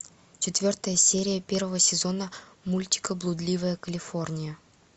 четвертая серия первого сезона мультика блудливая калифорния